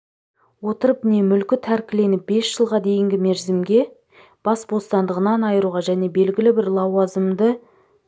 отырып не мүлкі тәркіленіп бес жылға дейінгі мерзімге бас бостандығынан айыруға және белгілі бір лауазымды